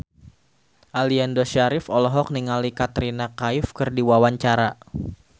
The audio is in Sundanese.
Aliando Syarif olohok ningali Katrina Kaif keur diwawancara